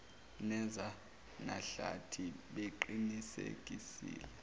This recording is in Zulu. neza mahlathi beqinisekisile